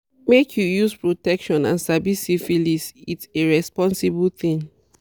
make you use protection and sabi syphilis its a responsible thing